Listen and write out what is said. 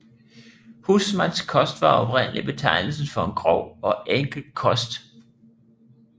Husmandskost var oprindeligt betegnelsen for en grov og enkel kost